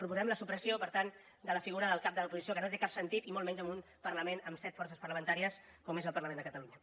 proposem la supressió per tant de la figura del cap de l’oposició que no té cap sentit i molt menys en un parlament amb set forces parlamentàries com és el parlament de catalunya